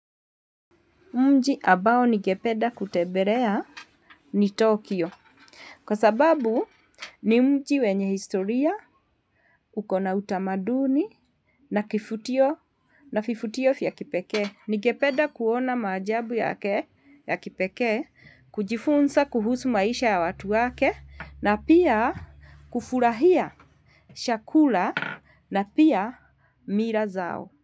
Mji ambao nigenpeda kutebelea ni Tokyo. Kwa sababu ni mji wenye historia ukona utamaduni na kivutio na vivutio vya kipeke. Nigependa kuona majabu yake ya kipekee kujifunza kuhusu maisha ya watu wake na pia kufurahia chakula na pia mila zao.